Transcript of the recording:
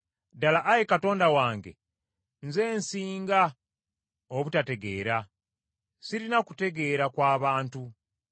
Ddala Ayi Katonda wange nze nsinga obutategeera, sirina kutegeera kwa bantu.